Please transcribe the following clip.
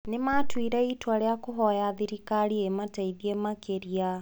Nĩ maatuire itua rĩa kũhoya thirikari ĩmateithie makĩria.